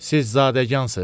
Siz zadəgansız?